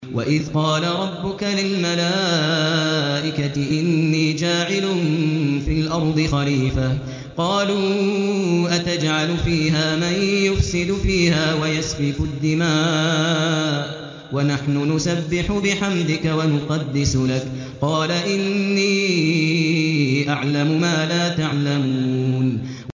وَإِذْ قَالَ رَبُّكَ لِلْمَلَائِكَةِ إِنِّي جَاعِلٌ فِي الْأَرْضِ خَلِيفَةً ۖ قَالُوا أَتَجْعَلُ فِيهَا مَن يُفْسِدُ فِيهَا وَيَسْفِكُ الدِّمَاءَ وَنَحْنُ نُسَبِّحُ بِحَمْدِكَ وَنُقَدِّسُ لَكَ ۖ قَالَ إِنِّي أَعْلَمُ مَا لَا تَعْلَمُونَ